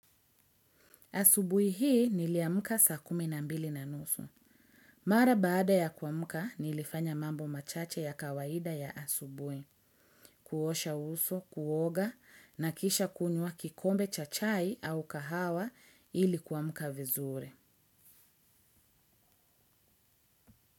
Asubuhi hii niliamka saa kumi na mbili na nusu. Mara baada ya kuamka nilifanya mambo machache ya kawaida ya asubuhi, kuosha uso, kuoga, na kisha kunywa kikombe cha chai au kahawa ili kuamka vizuri.